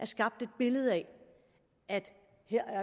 skabt et billede af at